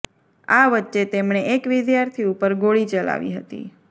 આ વચ્ચે તેમણે એક વિદ્યાર્થી ઉપર ગોળી ચલાવી હતી